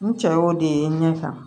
N cɛ y'o de ye n ɲɛ kan